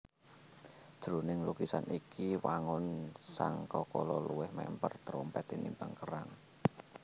Jroning lukisan iki wangun sangkakala luwih mèmper terompèt tinimbang kerang